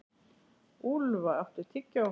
Úlfa, áttu tyggjó?